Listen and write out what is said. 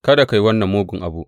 Kada ka yi wannan mugun abu.